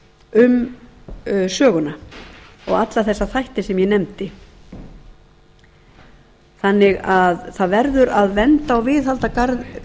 um söguna og alla þessa þætti sem ég nefndi það verður því að vernda og